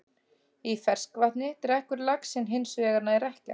Í ferskvatni drekkur laxinn hins vegar nær ekkert.